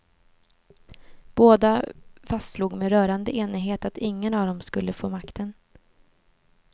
Båda fastslog med rörande enighet att ingen av dem skulle få makten.